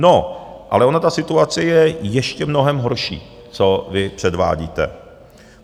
No, ale ona ta situace je ještě mnohem horší, co vy předvádíte.